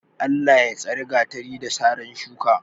Allah ya tsari gatari, da saran shuka.